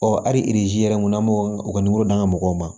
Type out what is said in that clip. Ɔ hali yɛrɛ kunna m'o ka d'an ma mɔgɔw ma